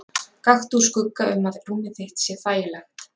Gakktu úr skugga um að rúmið þitt sé þægilegt.